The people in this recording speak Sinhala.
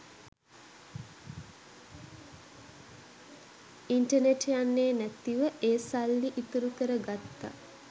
ඉන්ටනෙට් යන්නෙ නැතිව ඒ සල්ලි ඉතුරු කර ගත්ත